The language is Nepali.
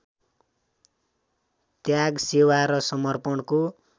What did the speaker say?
त्याग सेवा र समर्पणको